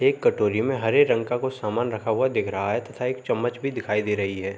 एक कटोरी में हरे रंग का कुछ सामान रखा हुआ है दिख रहा है तथा एक चम्मच भी दिखाई दे रही है।